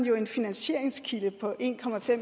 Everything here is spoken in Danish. en finansieringskilde på en